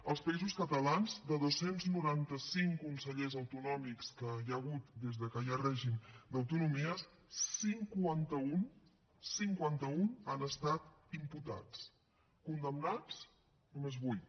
als països catalans de dos cents i noranta cinc consellers autonòmics que hi ha hagut des de que hi ha règim d’autonomies cinquanta un cinquanta un han estat imputats condemnats només vuit